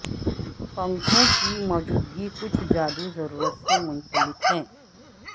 پنکھوں کی موجودگی کچھ جادو ضرورت سے منسلک ہے